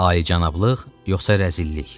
Ay, cənablıq yoxsa rəzillik?